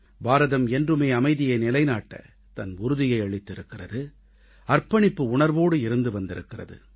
பாரதம் என்றுமே அமைதியை நிலைநாட்ட தன் உறுதியை அளித்திருக்கிறது அர்ப்பணிப்பு உணர்வோடு இருந்து வந்திருக்கிறது